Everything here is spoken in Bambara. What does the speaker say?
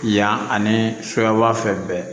Yan ani suyaba fɛn bɛɛ